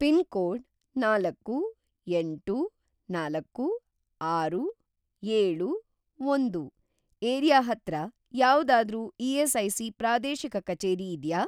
Pin code ನಾಲ್ಕು, ಎಂಟು, ನಾಲ್ಕು, ಆರು, ಏಳು, ಒಂದು ಏರಿಯಾ ಹತ್ರ ಯಾವ್ದಾದ್ರೂ ಇ.ಎಸ್.ಐ.ಸಿ. ಪ್ರಾದೇಶಿಕ ಕಚೇರಿ ಇದ್ಯಾ?